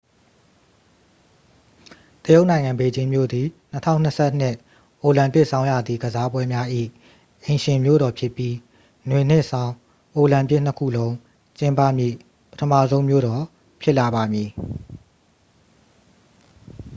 တရုတ်နိုင်ငံ ဘေကျင်းမြို့သည် 2022 အိုလံပစ်ဆောင်းရာသီ ကစားပွဲများ၏ အိမ်ရှင်မြို့တော်ဖြစ်ပြီး နွေနှင့် ဆောင်း အိုလံပစ် နှစ်ခုလုံး ကျင်းပမည့် ပထမဆုံး မြို့တော် ဖြစ်လာပါမည်